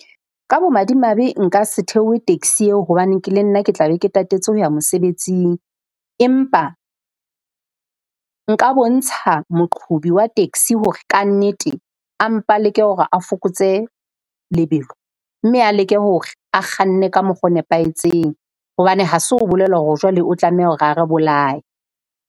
Ka bo madimabe, nka se theohe taxi eo hobane ke le nna ke tla be ke tatetse ho ya mosebetsing. Empa nka bontsha moqhobi wa taxi hore kannete a mpa leke hore a fokotse lebelo. Mme a leke hore a kganne ka mokgo nepahetseng. Hobane ha se ho bolela hore jwale o tlameha hore a re bolaye.